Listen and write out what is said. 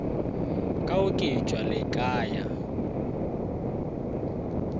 ka oketšwa le ka ya